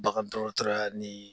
Bagan dɔgɔtɔrɔya ni